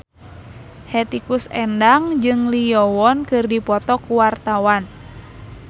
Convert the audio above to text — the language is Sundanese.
Hetty Koes Endang jeung Lee Yo Won keur dipoto ku wartawan